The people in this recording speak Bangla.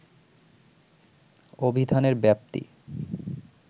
অভিধানের ব্যাপ্তি